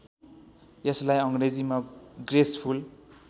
यसलाई अङ्ग्रेजीमा ग्रेसफुल